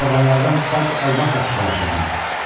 Karvanlardan bac almaqla kifayətlənir.